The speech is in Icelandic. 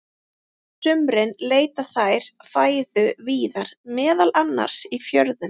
Á sumrin leita þær fæðu víðar, meðal annars í fjörum.